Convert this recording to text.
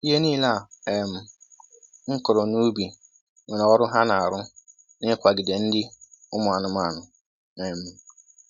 Ihe nile a um kụrụ n’ubi nwere ọrụ ha na arụ na-ikwagide nri ụmụ anụmanụ. um